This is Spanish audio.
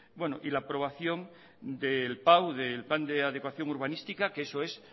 y la aprobación del pau del plan de adecuación urbanística que eso es